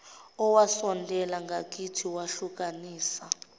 owasondela ngakithi wehlukanisa